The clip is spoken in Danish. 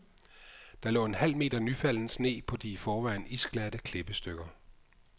Der lå en halv meter nyfalden sne på de i forvejen isglatte klippestykker.